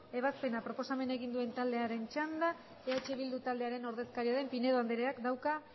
ebazpena proposamena egin duen taldearen txanda eh bildu taldearen ordezkaria den pinedo andreak dauka